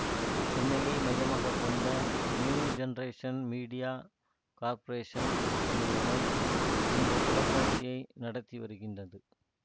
சென்னையை மையமாக கொண்ட நியூ ஜெனரேஷன் மீடியா கார்ப்பரேஷன் நிறுவனம் இந்த தொலைக்காட்சியை நடத்தி வருகின்றது